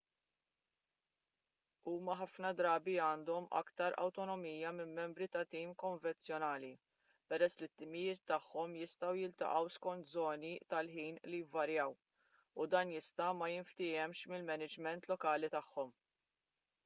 huma ħafna drabi għandhom aktar awtonomija minn membri ta' tim konvenzjonali peress li t-timijiet tagħhom jistgħu jiltaqgħu skont żoni tal-ħin li jvarjaw u dan jista' ma jinftiehemx mill-maniġment lokali tagħhom